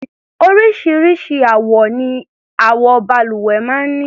Oríṣiríṣi àwọ ni àwo-balùwẹ̀ máa ń ní.